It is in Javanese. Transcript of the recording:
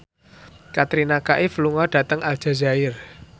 Katrina Kaif lunga dhateng Aljazair